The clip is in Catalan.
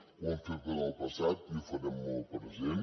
ho hem fet en el passat i ho farem en el present